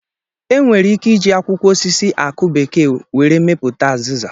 E nwere ike iji akwụkwọ osisi akụ bekee were mepụta azịza.